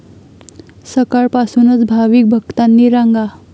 सकाळपासूनच भाविक भक्तांनी रांगा.